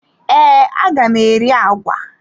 Ee, aga m eri agwa.